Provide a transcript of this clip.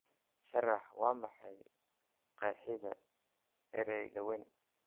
sharax waa maxay qeexida ereyga weyn